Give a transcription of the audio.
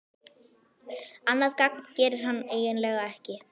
Annað gagn gerir hann eiginlega ekki.